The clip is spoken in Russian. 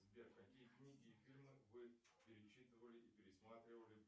сбер какие книги и фильмы вы перечитывали и пересматривали